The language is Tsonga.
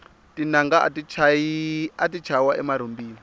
tinanga ati chayiwa emarhumbini